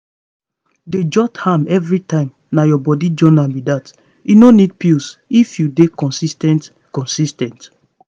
dey jot am every time na your body journal be that. e no need pills if you dey consis ten t consis ten t